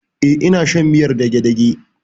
E, ina shan miyar dagedage.